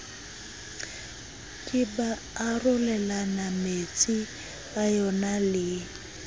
ke ba arolelanametsi a yonale